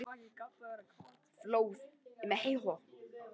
Flóð í Mexíkó